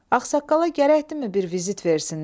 Ağsaqqala gərəkdimi bir vizit versinlər?